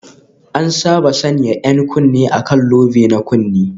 An saba sanya 'yan kunne a kan lobe na kunne